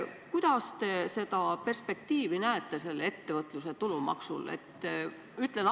Milline on teie arvates ettevõtluse tulumaksu perspektiiv?